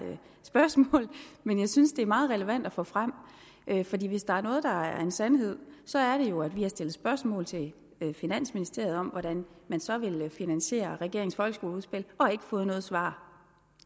spørgsmål men jeg synes det er meget relevant at få frem fordi hvis der er noget der er en sandhed så er det jo at vi har stillet spørgsmål til finansministeriet om hvordan man så vil finansiere regeringens folkeskoleudspil og ikke fået noget svar